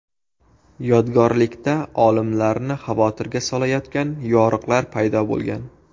Yodgorlikda olimlarni xavotirga solayotgan yoriqlar paydo bo‘lgan.